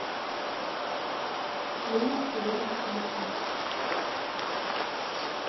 ленинский рынок телефон